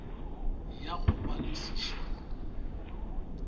ya go ba le seširo